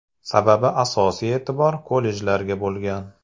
Sababi asosiy e’tibor kollejlarga bo‘lgan.